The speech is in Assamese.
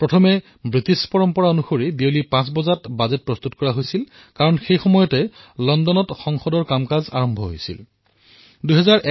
পূৰ্বতে ইংৰাজৰ পৰম্পৰা অনুসৰি সন্ধিয়া ৫ বজাত বাজেট প্ৰস্তুত কৰা হৈছিল কাৰণ সেই সময়ত লণ্ডনত পাৰ্লিয়ামেণ্ট আৰম্ভ হোৱাৰ সময় হৈছিল